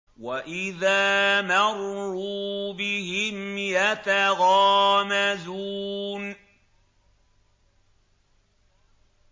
وَإِذَا مَرُّوا بِهِمْ يَتَغَامَزُونَ